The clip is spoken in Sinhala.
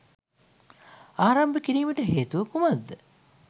ආරම්භ කිරීමට හේතුව කුමක් ද?